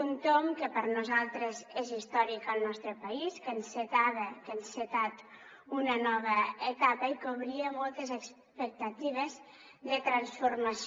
un tomb que per nosaltres és històric al nostre país que encetava que ha encetat una nova etapa i que obria moltes expectatives de transformació